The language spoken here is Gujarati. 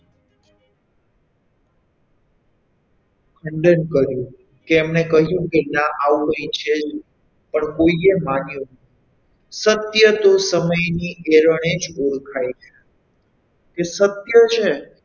ખંડન કર્યું કે એમણે કહ્યું કે ના આવું કંઈ છે જ નહીં પણ કોઈએ ના માન્યું સત્ય તો સમયની અરેણે જ ઓળખાય છે કે સત્ય છે,